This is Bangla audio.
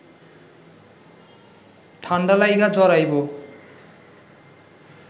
ঠাণ্ডা লাইগা জ্বর আইব